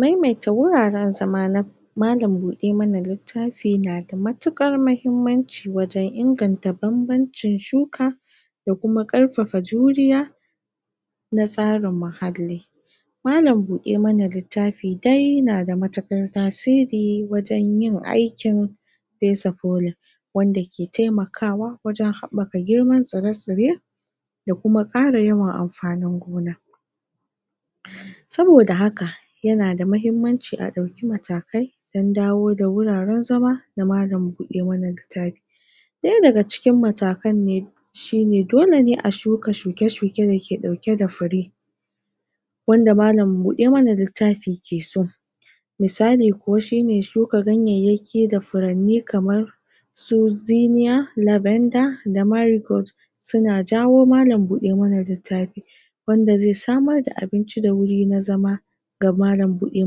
maimaita wuraren zama na malan buɗe mana littafi na da matuƙar muhimmanci wajen inganta banbancin shuka da kuma ƙarfafa juriya na tsara muhalli malan buɗe mana littafi dai na da matuƙar tasiri wajen yin aikin pesa polin wanda ke taimakawa wajen haɓaka girman tsire tsire da kuma ƙara yawan ampanin gona? saboda haka yana da mahimmanci a ɗauki matakai don dawo da wuraren zama na malan buɗe mana littafi ɗaya daga cikin matakan ne shine dole ne a shuka shuke shuke da ke ɗauke da fure wanda malan buɗe mana littafi ke so misali kuwa shine shuka ganyayyaki da furanni kamar su ziniya, lavenda, da marigot suna jawo malan buɗe mana littafi wanda zai samar da abinci da wuri na zama ga malan buɗe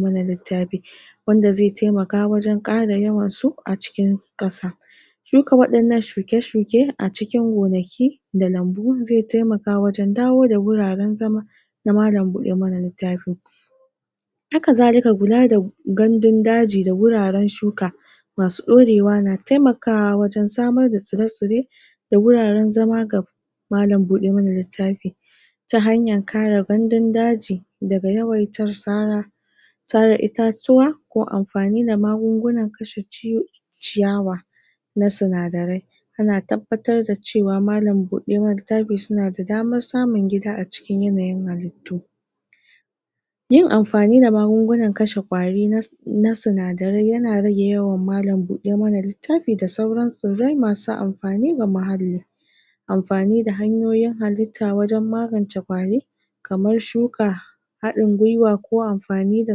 mana littafi wanda zai taimaka wajen ƙara yawansu a cikin ƙasa shuka waɗannan shuke shuke a cikin gonaki da lambu zai taimaka wajen dawo da wuraren zama na malan buɗe mana littafi haka zalika kula da gandun daji da wuraren shuka masu ɗorewa na taimakawa wajen samar da tsire tsire da wuraren zama ga malan buɗe mana littafi ta hanyan kare gandun daji daga yawaitar sara sare itatuwa ko amfani da magungunan kashe ciyawa na sinadarai yana tabbatar da cewa malan buɗe mana littafi suna da damar samun gida a cikin yanayin halittu yin amfani da magungunan kashe ƙwari na na sinadarai yana rage yawan malan buɗe mana littafi da sauran tsirrai masu ampani ga muhalli amfani da hanyoyin halitta wajen magance ƙwari kamar shuka haɗin gwiwa ko amfani da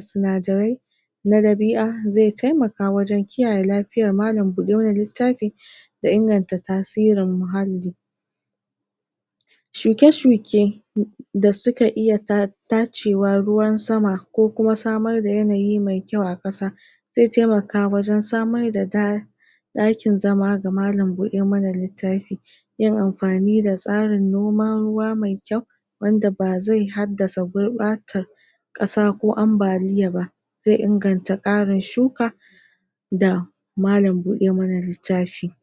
sinadarai na ɗabi'a zai taimaka wajen kiyaye lafiyar malan buɗe mana littafi da inganta tasirin muhalli shuke shuke? da suka iya ta tacewa ruwan sama ko kuma samar da yanayi mai kyau a ƙasa zai taimaka wajen samar da ta ɗakin zama ga malan buɗe mana littafi yin anfani da tsarin noman ruwa mai kyau wanda ba zai haddasa gurɓatar ƙasa ko ambaliya ba zai inganta ƙarin shuka da malan buɗe mana littafi